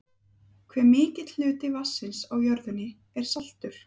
Hve mikill hluti vatnsins á jörðinni er saltur?